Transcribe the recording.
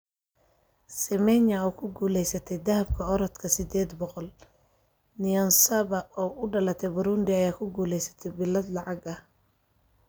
Semenya oo ku guulaysatay dahabka orodka sideed boqool, Niyonsaba oo u dhalatay Burundi ayaa ku guulaysatay bilad lacag ah